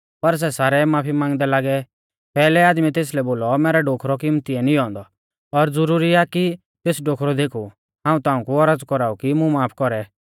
पर सै सारै माफी मांगदै लागै पैहलै आदमीऐ तेसलै बोलौ मैरै डोखरौ किमतिऐ निऔं औन्दौ और ज़ुरुरी आ कि तेस डोखरौ देखु हाऊं ताऊं कु औरज़ कौराऊ कि मुं माफ कौरै